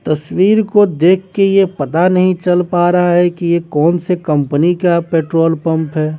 तस्वीर को देखके ये पता नहीं चल पा रहा है कि ये कौन से कंपनी का पेट्रोल पंप है।